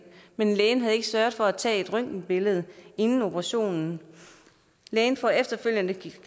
men lægen havde ikke sørget for at tage et røntgenbillede inden operationen lægen får efterfølgende